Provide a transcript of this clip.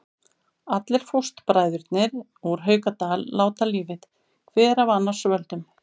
Allir fóstbræðurnir úr Haukadal láta lífið, hver af annars völdum.